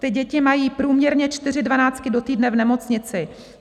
Ty děti mají průměrně čtyři dvanáctky do týdne v nemocnici.